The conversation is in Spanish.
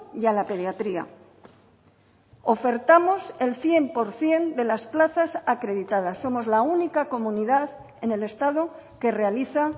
y a la pediatría ofertamos el cien por ciento de las plazas acreditadas somos la única comunidad en el estado que realiza